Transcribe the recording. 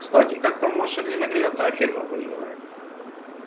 кстати как там ваша ненаглядная фирма поживает